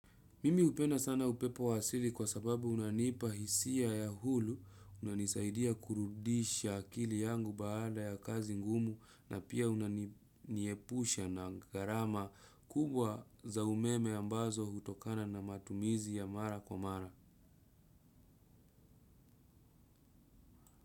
Mimi hupenda sana upepo wa asili kwa sababu unanipa hisia ya hulu, unanisaidia kurudisha akili yangu baada ya kazi ngumu na pia unaniepusha na gharama kubwa za umeme ambazo hutokana na matumizi ya mara kwa mara.